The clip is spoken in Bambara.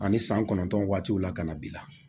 Ani san kɔnɔntɔn waatiw la ka na bi la